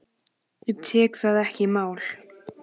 Ég tek það ekki í mál!